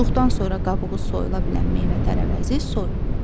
Yuduqdan sonra qabığı soyula bilən meyvə-tərəvəzi soy.